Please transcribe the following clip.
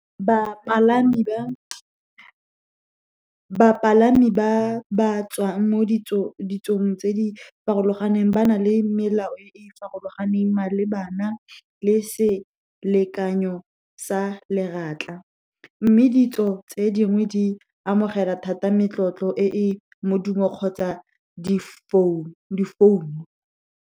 Bapalami ba ba tswang mo ditsong tse di farologaneng ba na le melao e e farologaneng malebana le selekanyo sa , mme ditso tse dingwe di amogela thata metlotlo e e modumo kgotsa di founu.